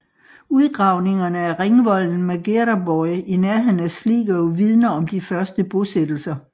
Udgravningerne af ringvolden Magheraboy i nærheden af Sligo vidner om de første bosættelser